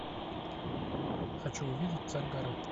хочу увидеть царь горы